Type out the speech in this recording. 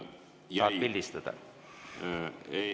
Tahad pildistada?